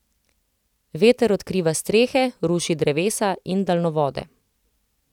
Veter odkriva strehe, ruši drevesa in daljnovode.